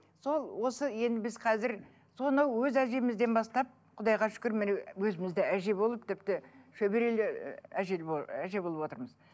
сол осы енді біз қазір соны өз әжемізден бастап құдайға шүкір міне өзіміз де әже болып тіпті шөберелі әже әже болып отырмыз